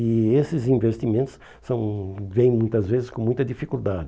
E esses investimentos são vêm muitas vezes com muita